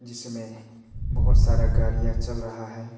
जिसमे बहुत सारा गाड़िया चल रहा है।